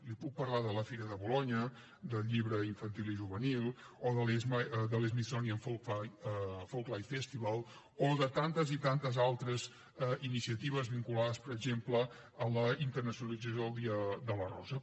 li puc parlar de la fira de bolonya del llibre infantil i juvenil o de l’smithsonian folklife festival o de tantes i tantes altres iniciatives vinculades per exemple amb la internacionalització del dia de la rosa